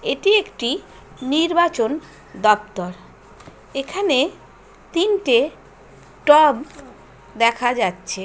এটি একটি নির্বাচন দপ্তর এখানে তিনটে টব দেখা যাচ্ছে।